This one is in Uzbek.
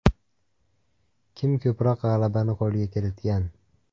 Kim ko‘proq g‘alabani qo‘lga kiritgan?